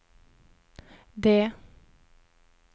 det